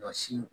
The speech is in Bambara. Ɲɔ sin